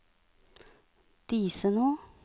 Disenå